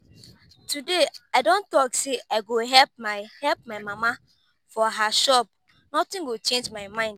today i don talk say i go help my help my mama for her shop nothing go change my mind